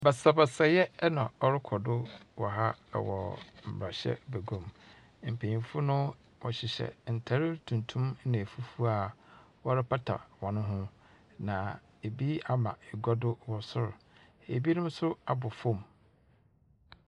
Basabasayɛ na ɔrekɔ do wɔ ha, ɛwɔ mmrahyɛ beguam. Mpanyinfo no wɔhyehyɛ ntare tuntum na efufuw a wɔrepata wɔn ho, na ebi ama egua do wɔ sor, na ebinom nso abɔ fom.